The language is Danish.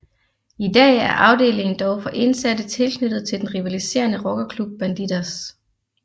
I dag er afdelingen dog for indsatte tilknyttet den rivaliserende rockerklub Bandidos